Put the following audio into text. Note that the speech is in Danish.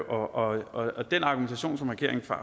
og den argumentation som regeringen